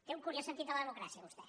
té un curiós sentit de la democràcia vostè